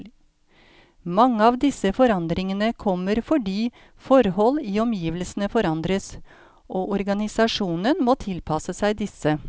Mange av disse forandringene kommer fordi forhold i omgivelsene forandres, og organisasjonen må tilpasse seg disse.